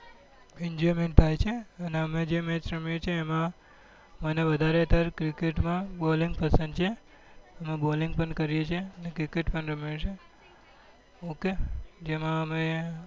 n enjoyment થાય છે ને અમે જે match રમીએ છીએ એમાં મને વધારે માં વધારે cricket માં balling પસંદ છે અમે bolling કરીએ છીએ અને cricket પણ રમીએ છીએ ok જેમાં અમે